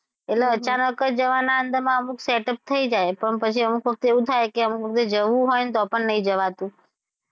એટલે અચાનક જ જવાના હતા અમુક set-up થઈ જાય પણ પછી અમુક વખતે એવું થાય કે અમુક વખતે જવું હોય તો પણ નહી જવાતું.